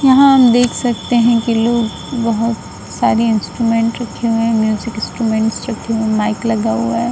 यहां हम देख सकते हैं कि लोग बहोत सारे इंस्ट्रूमेंट्स रखे हुए हैं। म्यूजिक इंस्ट्रूमेंट्स रखे हुए हैं। माइक लगा हुआ है।